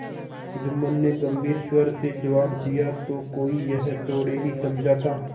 जुम्मन ने गम्भीर स्वर से जवाब दियातो कोई यह थोड़े ही समझा था